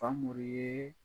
Famori ye